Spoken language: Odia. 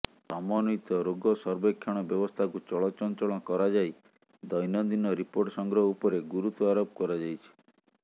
ସମନ୍ୱିତ ରୋଗ ସର୍ବେକ୍ଷଣ ବ୍ୟବସ୍ଥାକୁ ଚଳ ଚଂଚଳ କରାଯାଇ ଦୈନନ୍ଦିନ ରିପୋର୍ଟ ସଂଗ୍ରହ ଉପରେ ଗୁରୁତ୍ୱଆରୋପ କରାଯାଇଛି